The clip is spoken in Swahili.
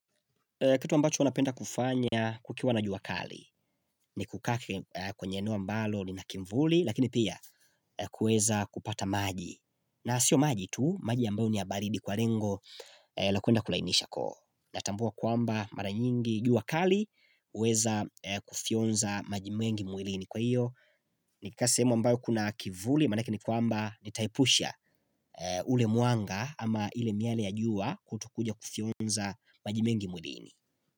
Kitu ambacho napenda kufanya kukiwa na juakali ni kukaka kwenye eneo ambalo lina kimvuli lakini pia kueza kupata maji na sio maji tu maji ambayo ni baridi kwa lengo la kuenda kulainisha koo natambua kwamba mara nyingi juakali huweza kufionza maji mengi mwilini kwa iyo ni kasehemu ambayo kuna kivuli manake ni kwamba nitaepusha ule muanga ama ile miale ya jua kutokuja kufionza maji mengi mwilini.